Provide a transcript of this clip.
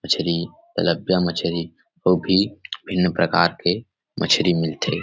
मछरी तलबिया मछरी वो भी भिन्न प्रकार के मछरी मिलथे।